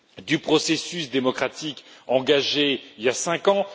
du processus démocratique engagé il y a cinq ans.